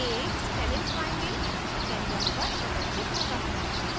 a scalene triangle canvas पर प्रदर्शित होता है